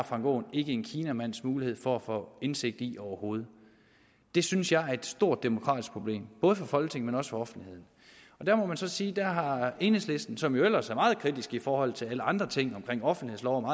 frank aaen ikke en kinamands mulighed for at få indsigt i overhovedet det synes jeg er et stort demokratisk problem for folketinget men også for offentligheden der må man så sige at der har enhedslisten som jo ellers er meget kritisk i forhold til alle andre ting omkring offentlighedsloven og